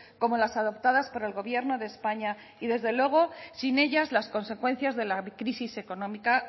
como las adoptadas por el gobierno de españa y desde luego sin ellas las consecuencias de la crisis económica